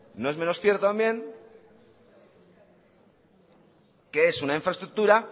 no es menos cierto también que es una infraestructura